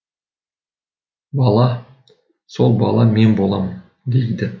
бала сол бала мен боламын дейді